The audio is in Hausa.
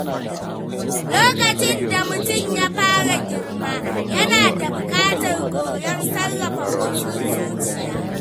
Lokacin da mutum ya fara girma, yana buƙatar koyon sarrafa motsin zuciya.